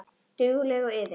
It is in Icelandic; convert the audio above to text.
Dugleg og iðin.